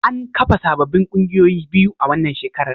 An kafa sabbin kungiyoyi biyu a wannan shekarar.